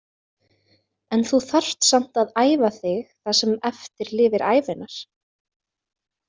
En þú þarft samt að æfa þig það sem eftir lifir ævinnar.